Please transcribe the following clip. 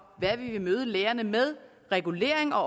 hvad vi vil møde lærerne med regulering og